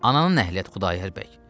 Ananın nəhliyyət Xudayar bəy.